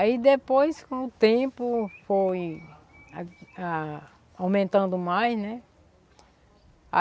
Aí depois, com o tempo, foi ah a a aumentando mais, né?